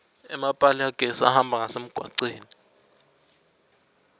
emapali agesi ahamba ngasemgwaceni